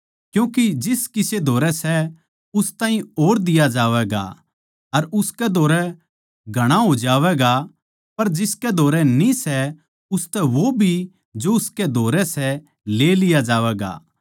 क्यूँके जिस किसे धोरै सै उस ताहीं और दिया जावैगा अर उसकै धोरै घणा हो जावैगा पर जिसकै धोरै न्ही सै उसतै वो भी जो उसकै धोरै सै ले लिया जावैगा